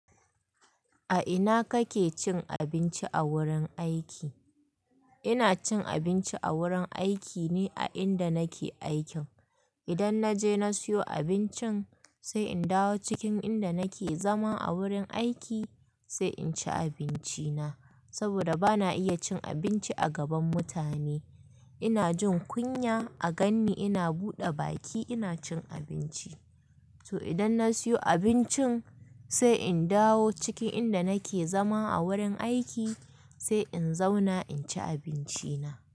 A ina kake cin abinci a wurin aiki? Ina cin abinci a wurin aiki ne a inda nake aikin. Idan na je na siyo abincin, sai in dawo cikin inda nake zama a wurin aiki sai in ci abinci na. Saboda bana iya cin abinci a gaban mutane. Ina jin kunya a gan ni ina buɗe baki ina cin abinci. To idan na siyo abincin, sai in dawo cikin inda nake zama a wurin aiki sai in zauna in ci abinci na.